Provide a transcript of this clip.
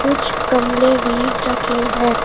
कुछ गमले भी रखे हैं।